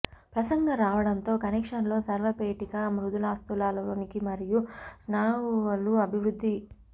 ప్రసంగం రావడంతో కనెక్షన్ లో స్వరపేటిక మృదులాస్థులలోనికి మరియు స్నాయువులు అభివృద్ధి